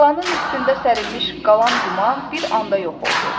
Talanın üstündə sərilmiş qalan duman bir anda yox oldu.